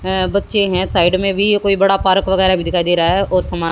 है बच्चे हैं साइड में भी ये कोई बड़ा पार्क वगैराह भी दिखाई दे रहा है और समा --